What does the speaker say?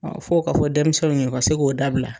Ɔn fo k'a fɔ denmisɛnw ye , u ka se k'o dabila.